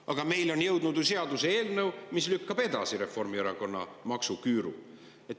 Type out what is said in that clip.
Aga meile on jõudnud ju seaduseelnõu, mis lükkab edasi Reformierakonna maksuküüru.